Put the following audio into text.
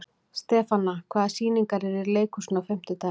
Stefana, hvaða sýningar eru í leikhúsinu á fimmtudaginn?